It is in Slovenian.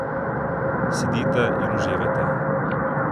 Sedite in uživajte!